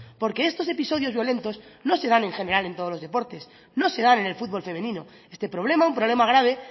porque estos episodios violentos no se dan en general en todos los deportes no se dan en el fútbol femenino este problema un problema grave